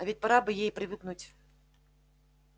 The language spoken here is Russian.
а ведь пора бы ей привыкнуть